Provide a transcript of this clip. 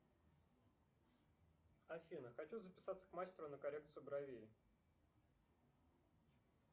афина хочу записаться к мастеру на коррекцию бровей